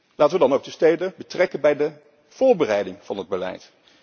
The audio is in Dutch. Laten wij dan ook de steden betrekken bij de voorbereiding van het beleid.